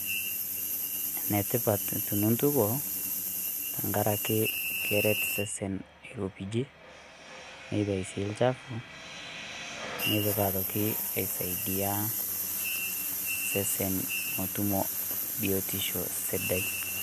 Enetipat tonintukuo tenkaraki keret sesen airopijie neitayu sii lchafu netoki aitoki aisaidia sesen metutumo biotisho sidai.